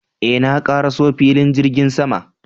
Eh, na ƙaraso filin jirgin sama